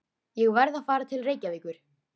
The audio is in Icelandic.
Ég verð að fara til Reykjavíkur!